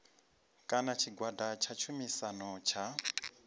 kana tshigwada tsha tshumisano tsha